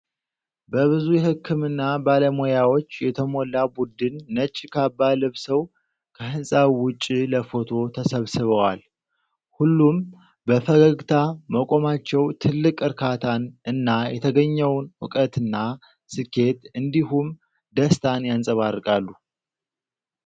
በብዙ የሕክምና ባለሙያዎች የተሞላ ቡድን ነጭ ካባ ለብሰው ከህንጻው ውጪ ለፎቶ ተሰብስበዋል። ሁሉም በፈገግታ መቆማቸው ትልቅ እርካታን እና የተገኘውን እውቀትና ስኬት እንዲሁም ደስታን ያንጸባርቃሉ።